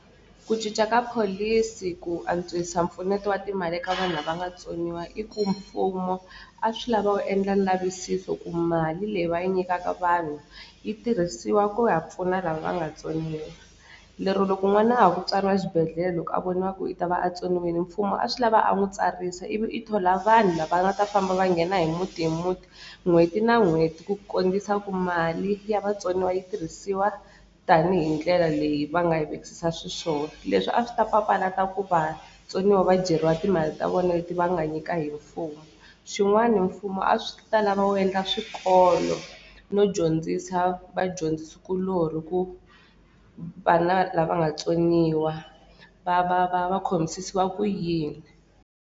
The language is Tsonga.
Ku cinca ka pholisi ku antswisa mpfuneto wa timali ka vanhu lava nga tsoniwa i ku mfumo a swi lava wu endla lavisiso ku mali leyi va yi nyikaka vanhu yi tirhisiwa ku ya pfuna lava nga tsoniwa lero loko n'wana a ha ku tswariwa xibedhlele loko a voniwa ku i ta va a tsoniwile mfumo a swi lava a n'wi tsarisa ivi i thola vanhu lava nga ta famba va nghena hi muti hi muti n'hweti na n'hweti ku ku mali ya vatsoniwa yi tirhisiwa tanihi ndlela leyi va nga yi vekisisa swi swona leswi a swi ta papalata ku vatsoniwa va dyeriwa timali ta vona leti va nga nyika hi mfumo xin'wana mfumo a swi ta lava wu yendla swikolo no dyondzisa vadyondzisi kuloni ku vana lava nga tsoniwa va va va va khomisisiwa ku yini.